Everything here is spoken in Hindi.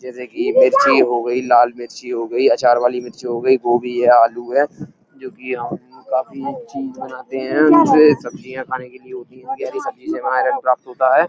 जैसे कि मिर्ची हो गई लाल मिर्ची हो गई आचार वाली मिर्ची हो गई। गोभी है आलू है जो कि हम काफी चीज बनाते हैं। सब्जियां खाने के लिए होती हैं। हरी सब्जी से हमें आयरन प्राप्त होता है।